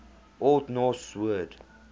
old norse word